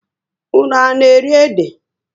Ụnụ á na-eri ede?